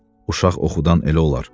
Uşaq oxudan elə olar.